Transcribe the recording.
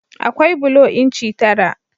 Akwai bulo inci tara.